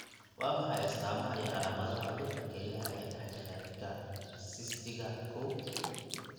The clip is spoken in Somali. Waa maxay astamaha iyo calaamadaha cudurka kelyaha ee dhexdhexaadiye sistiga kow?